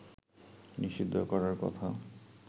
নিষিদ্ধ করার কথা